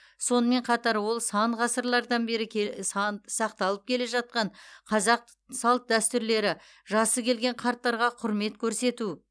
сонымен қатар ол сан ғасырлардан бері кел сақталып келе жатқан қазақ салт дәстүрлері жасы келген қарттарға құрмет көрсету